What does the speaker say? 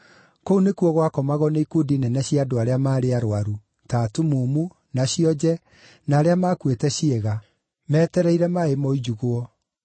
Kũu nĩkuo gwakomagwo nĩ ikundi nene cia andũ arĩa maarĩ arũaru, ta atumumu, na cionje, na arĩa maakuĩte ciĩga (meetereire maaĩ moinjugwo.